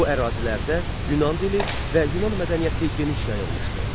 Bu ərazilərdə Yunan dili və Yunan mədəniyyəti geniş yayılmışdı.